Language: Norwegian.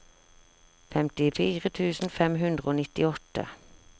femtifire tusen fem hundre og nittiåtte